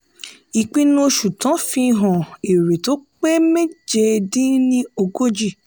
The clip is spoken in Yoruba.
ìpinnu oṣù tán fi hàn èrè tó pé méje dín ní ogójì.